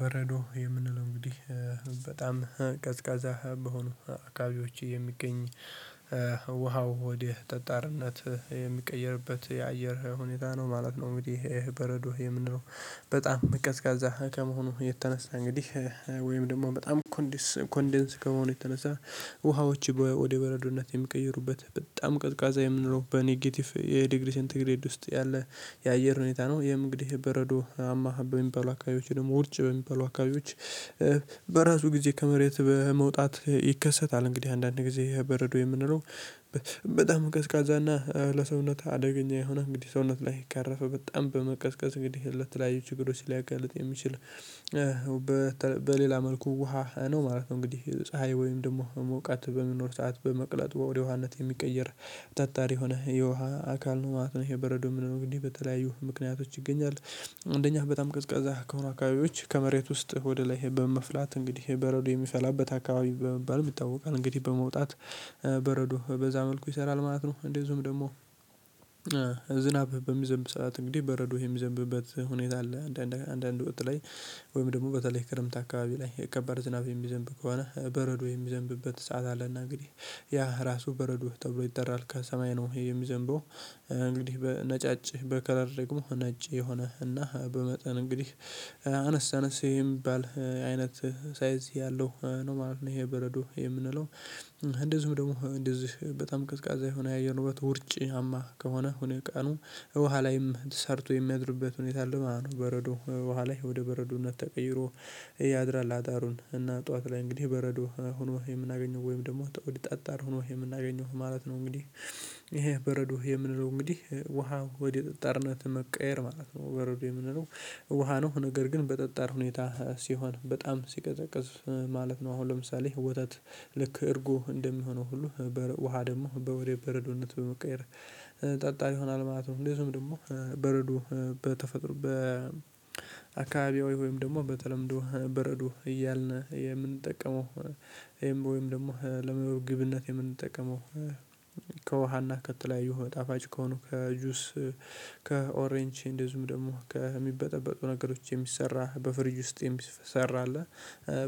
በረዶ የምንለው እንግዲህ በጣም ቀዝቃዛ በሆኑ አካባቢዎች የሚገኝ ውሃው ወደ ጠጣርነት የሚቀየርበት የአየር ሁኔታ ነው ማለት ነው። እንግዲህ በረዶ የምንለው በጣም ቀዝቃዛ ከመሆኑ የተነሳ እንግዲህ ወይም በጣም ኮንደንስ ኮንደንስ ከሆነ የተነሳ ውሃዎች ወደ በረዶነት የሚቀይሩበት በጣም ቀዝቃዛ የምንለው በኔጌቲቭ የዲግሪ ሰንትግሬድ ውስጥ ያለ የአየር ሁኔታ ነው። ይሄም እንግድ በረዶ በሚባሉ አካባቢዎች ደግሞ ውርጭ በሚባሉ አካባቢዎች በራሱ ጊዜ ከመሬት በመውጣት ይከሰታል። እንግዲህ አንዳንድ ጊዜ ይሄ በረዶ የምንለው በጣም ቀዝቃዛና ለሰውነት አደገኛ የሆነ እንግዲህ ሰውነት ላይ ካረፈ በጣም በመቀዝቀዝ እንግዲህ ለተለያዩ ችግሮች ሊያገልጥ የሚችል። በሌላ መልኩ ውሃ ነው ማለት ነው። እንግዲህ ፀሀይ ወይም ደግሞ ሞቃት በመኖር ሰዓት በመቅለጥ ወደ ውሃነት የሚቀየር ጠጣር የሆነ የውሃ አካል ነው ማለት ነው። የበረዶ ምንለው እንግዲህ በተለያዩ ምክንያቶች ይገኛል። አንደኛ በጣም ቅዝቃዛ ከሆኑ አካባቢዎች ከመሬት ውስጥ ወደ ላይ በመፍላት እንግዲህ በረዶ የሚፈላበት አካባቢ በመባልም ይታወቃል እንግዲህ በመውጣት በረዶ በዛ መልኩ ይሰራል ማለት ነው። እንደዚሁም ደግሞ ዝናብ በሚዘንብ ሰዓት እንግዲህ በረዶ የሚዘንብበት ሁኔታ አለ። አንዳንድ አንዳንድ ወቅት ላይ ወይም ደግሞ በተለይ ክረምት አካባቢ ላይ የከባድ ዝናብ የሚዘንብ ከሆነ በረዶ የሚዘንብበት ሰዓት አለና እንግዲህ ያ ራሱ በረዶ ተብሎ ይጠራል። ከሰማይ ነው ይሄ የሚዘንበው እንግዲህ በነጫጭ በከለር ደግሞ ነጭ የሆነ እና በመጠን እንግዲህ አነስ አነስ የሚባል አይነት ሳይዝ ያለው ነው ማለት ነው። ይሄ በረዶ የምንለው እንደዚሁም ደግሞ እንደዚህ በጣም ቅዝቃዜ የሆነ ያየር ንብረት ውርጭማ ከሆነ ሁኔ ቀኑ ውሃ ላይም ሰርቶ የሚያድርበት ሁኔታ አለ ማለት ነው። በረዶ ውሃ ላይ ወደ በረዶነት ተቀይሮ ያድራል። አዳሩን እና ጠዋት ላይ እንግዲህ በረዶ ሆኖ የምናገኘው ወይም ደግሞ ወደ ጠጣር ሆኖ የምናገኘው ማለት ነው። እንግዲህ ይሄ በረዶ የምንለው እንግዲህ ውሃ ወደ ጠጣርነት መቀየር ማለት ነው በረዶ የምንለው ውሃ ነው ነገር ግን በጠጣር ሁኔታ ሲሆን በጣም ሲቀዘቅዝ ማለት ነው። አሁን ለምሳሌ ወተት ልክ እርጉ እንደሚሆነው ሁሉ በረ ውሃ ደግሞ በ ወደ በረዶነት በመቀየር ጠጣ ይሆናል ማለት ነው። እንደዚሁም ደግሞ በረዶ በተፈጥሮ በአካባቢው ወይም ደግሞ በተለምዶ በረዶ እያልን የምንጠቀመው ወይም ደግሞ ለምግብነት የምንጠቀመው ከውሃና ከተለያዩ መጣፋጭ ከሆኑ ከጁስ ከኦሬንጅ እንደዚሁም ደግሞ ከሚበጠበጡ ነገሮች የሚሰራ በፍሪጅ ውስጥ የሚሰራ አለ።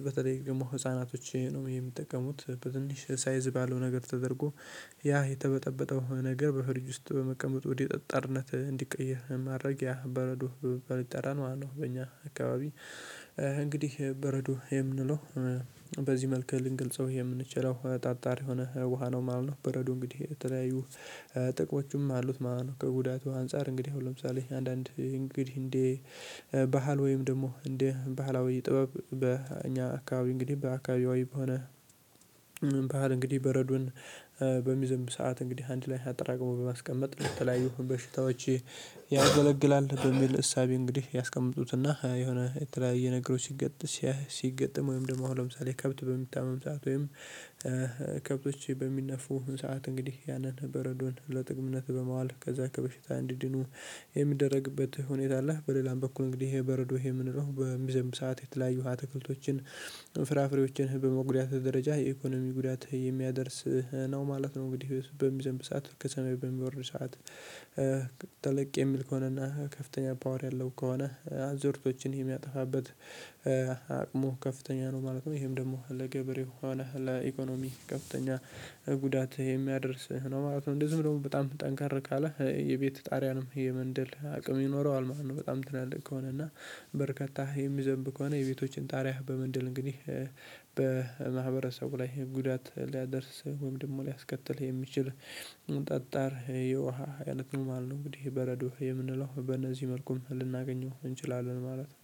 በተለይ ደግሞ ህፃናቶች ነው የሚጠቀሙት በትንሽ ሳይዝ ባለው ነገር ተደርጎ ያ የተበጠበጠው ነገር በፍሪጅ ውስጥ በመቀመጥ ወደ ጠጠርነት እንዲቀየር ማድረጊያ በረዶ በመባል ይጠራል ማለት ነው። በእኛ አካባቢ እንግዲህ በረዶ የምንለው በዚህ መልኩ ልንገልጸው የምንችለው ጠጣሪ የሆነ ውሃ ነው ማለት ነው። በረዶ እንግዲህ የተለያዩ ጥቅሞቹም አሉት። ማነው ከጉዳቱ አንፃር እንግዲህ አሁን ለምሳሌ አንዳንድ እንግዲህ እንዴ ባህል ወይም ደግሞ እንደ ባህላዊ ጥበብ በእኛ አካባቢ እንግዲህ በአካባቢውም ሆነ ባህል እንግዲህ በረዶን በሚዘምብ ሰዓት እንግዲህ አንድ ላይ አጠራቅሞ በማስቀመጥ በተለያዩ በሽታዎች ያገለግላል በሚል እሳቤ እንግዲህ ያስቀምጡትና የሆነ የተለያየ ነገሮች ሲገጥም ሲገጥም ወይም ደግሞ ለምሳሌ ከብት በሚታመም ሰዓት ወይም ከብቶች በሚነፉ ሰዓት እንግዲህ ያንን በረዶን ለጥቅምነት በማዋል ከዛ ከበሽታ እንዲድኑ የሚደረግበት ሁኔታ አለ። በሌላም በኩል እንግዲህ ይሄ በረዶ ይሄ ምንለው በሚዘምብ ሰዓት የተለያየ ትክልቶችን ፍራፍሬዎችን በመጉዳት ደረጃ የኢኮኖሚ ጉዳት የሚያደርስ ነው ማለት ነው። እንግዲህ በሚዘንብ ሰዓት ከሰማይ በሚወርድ ሰዓት ተለቅ የሚል ከሆነና ከፍተኛ ፓወር ያለው ከሆነ አዞርቶችን የሚያጠፋበት አቅሙ ከፍተኛ ነው ማለት ነው። ይሄም ደግሞ ለገበሬ የሆነ ለኢኮኖሚ ከፍተኛ ጉዳት የሚያደርስህ ነው ማለት ነው። እንደዚህም ደግሞ በጣም ጠንከር ካለ የቤት ጣሪያንም የመንደል አቅም ይኖረዋል ማለት ነው። በጣም ትላልቅ ከሆነ እና በርካታ የሚዘንብ ከሆነ የቤቶችን ጣሪያ በመንደል እንግዲህ በማህበረሰቡ ላይ ጉዳት ሊያደርስ ወይም ደግሞ ሊያስከትል የሚችል ጠጣር የውሃ ህደት ነው ማለት ነው። እንግዲህ በረዶ የምንለው በእነዚህ መልኩም ልናገኘው እንችላለን ማለት ነው።